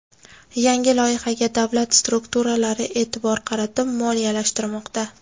Yangi loyihaga davlat strukturalari e’tibor qaratib, moliyalashtirmoqda .